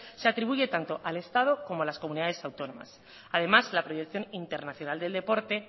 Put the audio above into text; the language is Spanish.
se atribuye tanto al estado como a las comunidades autónomas además la proyección internacional del deporte